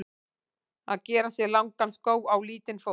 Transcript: Að gera sér langan skó á lítinn fót